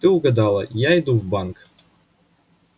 ты угадала я иду в банк